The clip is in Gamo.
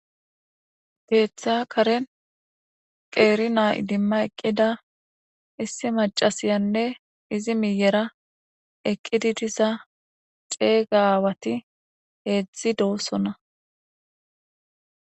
Keththa kaaren qerina iddimada eqqida maccasiyane izzi miyera eqqidi diza aawati hedzdz dossona